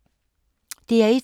DR1